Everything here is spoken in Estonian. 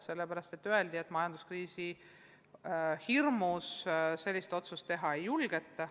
Sellepärast öeldi, et majanduskriisi hirmus sellist otsust teha ei julgeta.